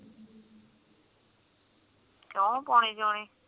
ਕਿਉਂ ਪੌਣੀ ਕਿਉਂ ਨੀ